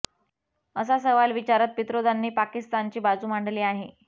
असा सवाल विचारत पित्रोदांनी पाकिस्तानची बाजू मांडली आहे